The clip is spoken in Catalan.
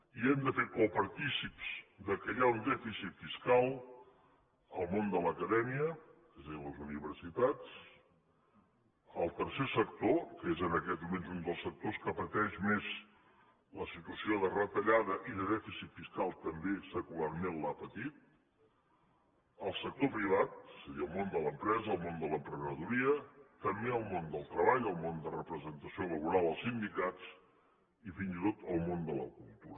i hem de fer copartícips que hi ha un dèficit fiscal el món de l’acadèmia és a dir les universitats el tercer sector que és en aquests moments un dels sectors que pateix més la situació de retallada i de dèficit fiscal també secularment l’ha patit el sector privat és a dir el món de l’empresa el món de l’emprenedoria també el món del treball el món de representació laboral els sindicats i fins i tot el món de la cultura